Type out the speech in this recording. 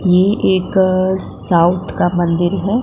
ये एक साउथ का मंदिर है।